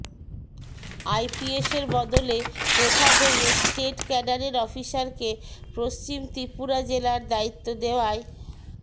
আইপিএসের বদলে প্রথা ভেঙে স্টেট ক্যাডারের অফিসারকে পশ্চিম ত্রিপুরা জেলার দায়িত্ব দেওয়ায়